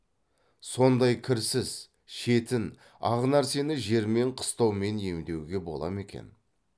сондай кірсіз шетін ақ нәрсені жермен қыстаумен емдеуге бола ма екен